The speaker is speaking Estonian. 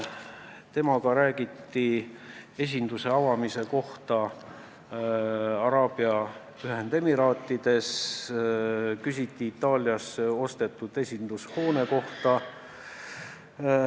Temaga räägiti esinduse avamisest Araabia Ühendemiraatides ja küsiti ka Itaalias ostetud esindushoone kohta.